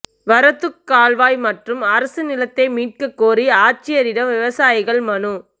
வரத்துக் கால்வாய் மற்றும் அரசு நிலத்தை மீட்கக் கோரி ஆட்சியரிடம் விவசாயிகள் மனு